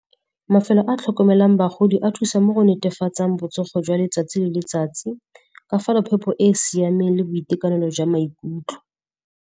Mafelo a tlhokomelang bagodi a thusa mo go netefatseng botsogo jwa letsatsi le letsatsi. Ba fa na phepho e e siameng le boitekanelo jwa maikutlo.